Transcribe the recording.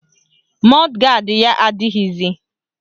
Mọd gard ya adịghịzi